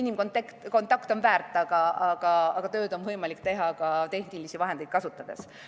Inimkontakt on väärtuslik, aga tööd on võimalik teha ka tehnilisi vahendeid kasutades.